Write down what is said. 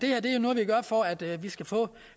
gør for at vi skal få